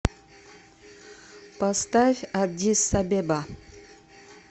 поставь аддис абеба